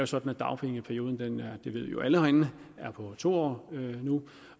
sådan at dagpengeperioden det ved vi jo alle herinde er på to år nu